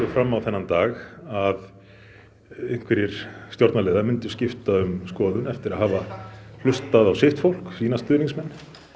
fram á þennan dag að einhverjir stjórnarliðar myndu skipta um skoðun eftir að hafa hlustað á sitt fólk sína stuðningsmenn